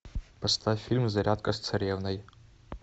поставь фильм зарядка с царевной